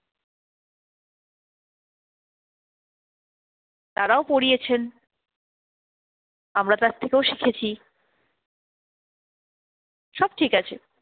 তারাও পড়িয়েছেন। আমরা তার থেকেও শিখেছি। সব ঠিক আছে,